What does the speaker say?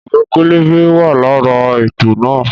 Ìwé pẹlẹbẹ wa lára ètò náà